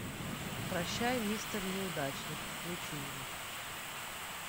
прощай мистер неудачник включи мне